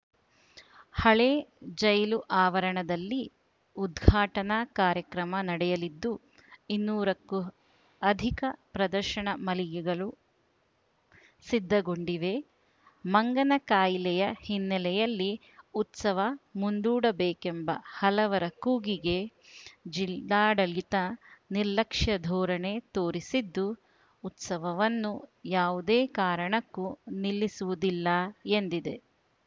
ಹಳೆ ಜೈಲು ಆವರಣದಲ್ಲಿ ಉದ್ಘಾಟನಾ ಕಾರ್ಯಕ್ರಮ ನಡೆಯಲಿದ್ದು ಇನ್ನೂರಕ್ಕೂ ಅಧಿಕ ಪ್ರದರ್ಶನ ಮಳಿಗೆಗಳು ಸಿದ್ಧಗೊಂಡಿವೆ ಮಂಗನ ಕಾಯಿಲೆಯ ಹಿನ್ನೆಲೆಯಲ್ಲಿ ಉತ್ಸವ ಮುಂದೂಡಬೇಕೆಂಬ ಹಲವರ ಕೂಗಿಗೆ ಜಿಲ್ಲಾಡಳಿತ ನಿರ್ಲಕ್ಷ್ಯ ಧೋರಣೆ ತೋರಿಸಿದ್ದು ಉತ್ಸವವನ್ನು ಯಾವುದೇ ಕಾರಣಕ್ಕೂ ನಿಲ್ಲಿಸುವುದಿಲ್ಲ ಎಂದಿದೆ